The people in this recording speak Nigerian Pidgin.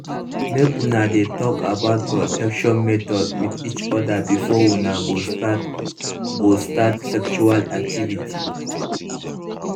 make una de talk about protection method with each other before una go start go start sexual activity